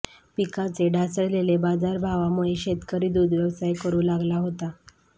पिकांचे ढासळलेले बाजारभावामुळे शेतकरी दूध व्यवसाय करू लागला होता